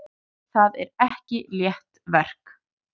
Það er ekki létt verk.